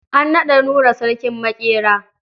An naɗa Nura sarkin maƙera.